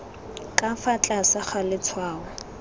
ka fa tlase ga letshwao